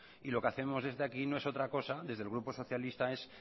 y lo que hacemos desde aquí no es otra cosa desde el grupo socialista es